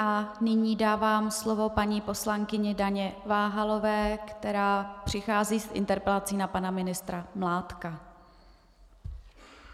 A nyní dávám slovo paní poslankyni Daně Váhalové, která přichází s interpelací na pana ministra Mládka.